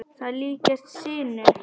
Þær líkjast sinu.